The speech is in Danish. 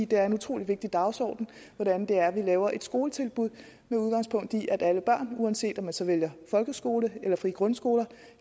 det er en utrolig vigtig dagsordenen hvordan det er vi laver et skoletilbud med udgangspunkt i at alle børn uanset om man så vælger folkeskole eller frie grundskoler